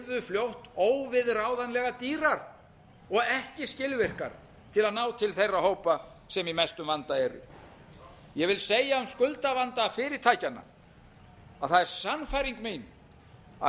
fljótt óviðráðanlega dýrar og ekki skilvirkar til að ná til þeirra hópa sem í mestum vanda eru ég vil segja um skuldavanda fyrirtækjanna að það er sannfæring mín að